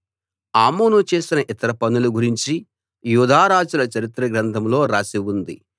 ఆమోను చేసిన ఇతర పనుల గురించి యూదారాజుల చరిత్ర గ్రంథంలో రాసి ఉంది